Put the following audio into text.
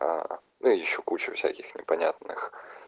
а ну ещё куча всяких непонятных